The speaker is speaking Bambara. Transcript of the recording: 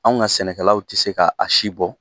Anw ka sɛnɛkɛlaw tɛ se k'a si bɔ!